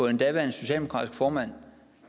en daværende socialdemokratisk formand